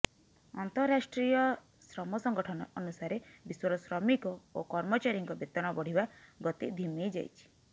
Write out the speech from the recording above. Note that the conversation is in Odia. ଅନ୍ତର୍ରାଷ୍ଟ୍ରୀୟ ଶ୍ରମ ସଂଗଠନ ଅନୁସାରେ ବିଶ୍ୱର ଶ୍ରମିକ ଓ କର୍ମଚାରୀଙ୍କ ବେତନ ବଢ଼ିବା ଗତି ଧିମେଇ ଯାଇଛି